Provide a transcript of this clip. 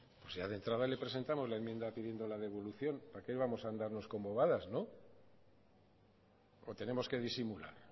pues ya de entrada le presentamos la enmienda pidiendo la devolución por qué vamos a andar con bobadas no o tenemos que disimular